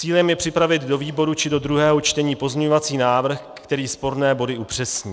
Cílem je připravit do výborů či do druhého čtení pozměňovací návrh, který sporné body upřesní.